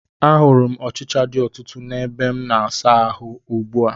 A hụrụ m ọchịcha dị ọtụtụ n'ebeasamaahụ ugbu a